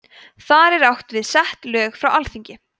þar er átt við sett lög frá alþingi